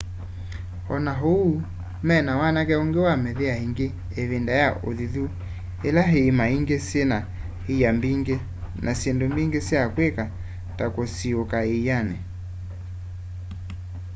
ona ou mena wanake ungi na mĩthea ingi ivinda ya uthithu ila iima ingi syina ĩa mbingi na syindu mbingi sya kwika ta kũsiũũka ĩanĩ